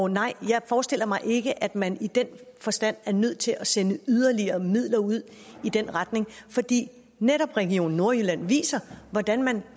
nej jeg forestiller mig ikke at man i den forstand er nødt til at sende yderligere midler ud i den retning fordi netop region nordjylland viser hvordan man